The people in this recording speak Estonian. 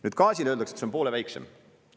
Nüüd gaasil öeldakse, et see on poole väiksem.